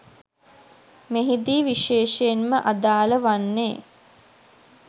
මෙහිදී විශේෂයෙන් ම අදාළ වන්නේ